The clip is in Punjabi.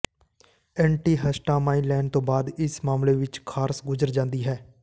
ਐਂਟੀਿਹਸਟਾਮਾਈਨ ਲੈਣ ਤੋਂ ਬਾਅਦ ਇਸ ਮਾਮਲੇ ਵਿਚ ਖ਼ਾਰਸ਼ ਗੁਜ਼ਰ ਜਾਂਦੀ ਹੈ